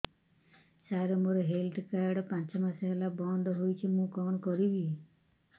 ସାର ମୋର health card ପାଞ୍ଚ ମାସ ହେଲା ବଂଦ ହୋଇଛି ମୁଁ କଣ କରିବି